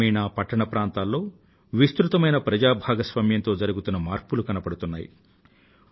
గ్రామీణ ప్రాంతాలలో పట్టణ ప్రాంతాలలో విస్తృతమైన ప్రజా భాగస్వామ్యంతో జరుగుతున్న మార్పులు కనబడుతున్నాయి